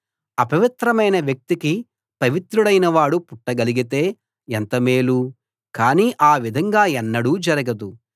అపవిత్రమైన వ్యక్తికి పవిత్రుడైనవాడు పుట్టగలిగితే ఎంత మేలు కానీ ఆ విధంగా ఎన్నడూ జరగదు